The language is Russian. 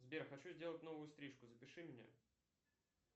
сбер хочу сделать новую стрижку запиши меня